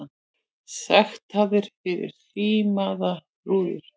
Sektaðir fyrir hrímaðar rúður